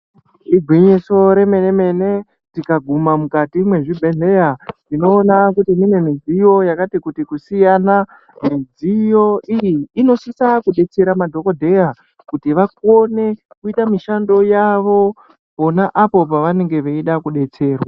Igwinyiso remene mene tikaguma mukati mezvibhedhlera tinoona kuti kune midziyo yakati kusiyana midziyo iyi inosisa kudetsera madhokodheya kuti vakone kuita mishando yawo pona apo pavanenge veida kudetserwa.